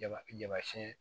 Jama jama siyɛn